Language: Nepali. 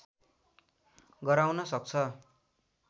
गराउन सक्छ